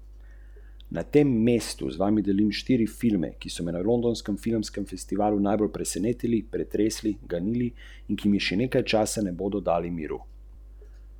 Te je v sodelovanju s priznanimi trenerji organizirala Zavarovalnica Triglav.